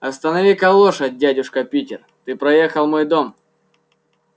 останови-ка лошадь дядюшка питер ты проехал мой дом